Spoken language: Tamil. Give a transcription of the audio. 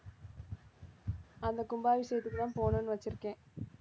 அந்த கும்பாபிஷேகத்துக்குதான் போகணும்னு வச்சிருக்கேன்